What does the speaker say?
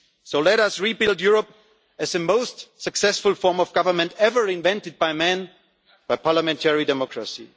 today. So let us rebuild Europe as the most successful form of government ever invented by man a parliamentary